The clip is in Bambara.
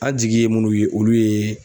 An jigi ye munnu ye olu ye